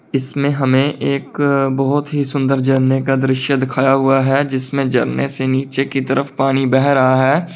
इसमें हमें एक बहुत ही सुंदर झरने का दृश्य दिखाया हुआ है जिसमें झरने से नीचे की तरफ पानी बह रहा है।